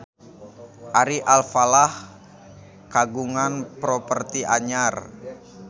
Ari Alfalah kagungan properti anyar